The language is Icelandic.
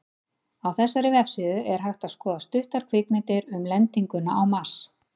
Á þessari vefsíðu er hægt að skoða stuttar kvikmyndir um lendinguna á Mars.